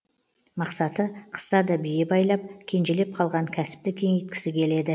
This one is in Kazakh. мақсаты қыста да бие байлап кенжелеп қалған кәсіпті кеңейткісі келеді